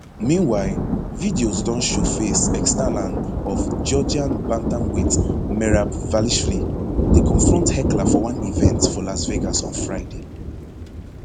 meanwhile videos don showface external of georgian bantamweight merab dvalishvili dey confront heckler for one event for las vegas on friday